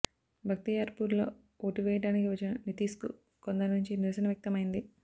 భక్తియార్పూర్లో ఓటువేయడా నికి వచ్చిన నితీశ్కు కొందరి నుంచి నిరసన వ్యక్తం అయింది